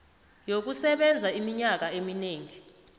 yokusebenza iminyaka eminengi